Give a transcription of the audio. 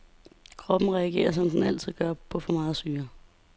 Kroppen reagerer som den altid gør på for meget syre.